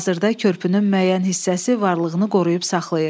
Hazırda körpünün müəyyən hissəsi varlığını qoruyub saxlayır.